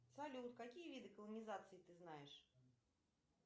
салют какие виды колонизации ты знаешь